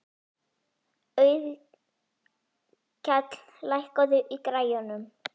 Auðkell, lækkaðu í græjunum.